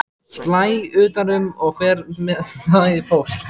Slæ utan um og fer með það í póst.